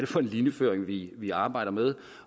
for en linjeføring vi arbejder med